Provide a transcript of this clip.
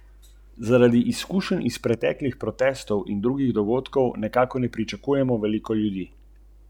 Ni vedela, kaj naj stori.